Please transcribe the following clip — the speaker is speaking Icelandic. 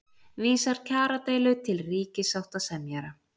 Vísar kjaradeilu til ríkissáttasemjara